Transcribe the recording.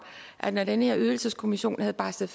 at når den her ydelseskommission havde barslet